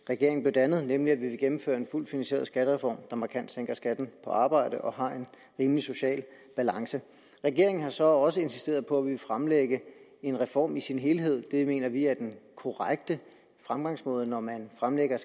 regeringen blev dannet nemlig at vi vil gennemføre en fuldt finansieret skattereform der markant sænker skatten på arbejde og har en rimelig social balance regeringen har så også insisteret på at ville fremlægge en reform i sin helhed det mener vi er den korrekte fremgangsmåde når man fremlægger